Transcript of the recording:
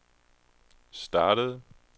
startede